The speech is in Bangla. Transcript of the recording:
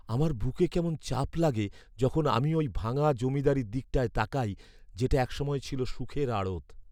আমার বুকে কেমন চাপ লাগে যখন আমি ওই ভাঙা জমিদারির দিকটায় তাকাই, যেটা এক সময় ছিল সুখের আড়ত।